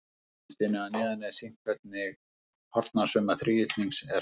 á myndinni að neðan er sýnt hvernig hornasumma þríhyrnings er fundin